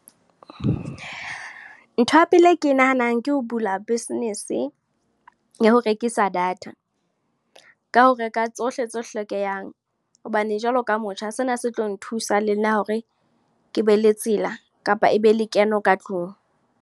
Ntho ya pele e ke nahanang ke ho bula business, ya ho rekisa data. Ka ho reka tsohle tse hlokehang. Hobane jwalo ka motjha, sena se tlo nthusa le nna hore, ke be le tsela. Kapa ebe lekeno ka tlung.